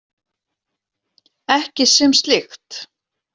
Ekki sem slíkt.